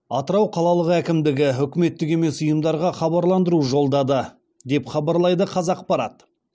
атырау қалалық әкімдігі үкіметтік емес ұйымдарға хабарландыру жолдады деп хабарлайды қазақпарат